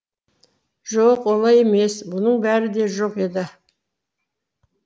жоқ олай емес бұның бәрі де жоқ еді